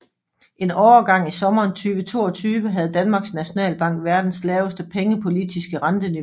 En overgang i sommeren 2022 havde Danmarks Nationalbank verdens laveste pengepolitiske renteniveau